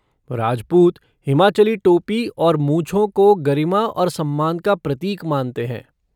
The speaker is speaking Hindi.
राजपूत हिमाचली टोपी और मूंछों को गरिमा और सम्मान का प्रतीक मानते हैं।